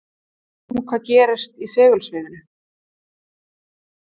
skoðum nú hvað gerist í segulsviðinu